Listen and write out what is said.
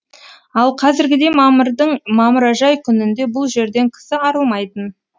ал қазіргідей мамырдың мамыражай күнінде бұл жерден кісі арылмайтын